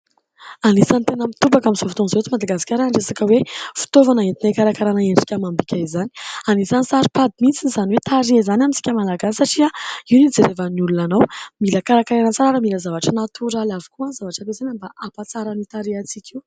Anisany tena mitobaka amin' izao fotoana izao eto madagasikara ny resaka hoe fitaovana entina hikarakarana endrika amam-bika izany, an' isany saro-pady mihitsy izany hoe tarehy izany amin-tsika malagasy satria io no hijerevan' ny olona anao, mila karakaraina tsara. Mila zavatra natoraly avokoa ny zavatra ampiasaina mba ampa-tsara ny tarehintsika.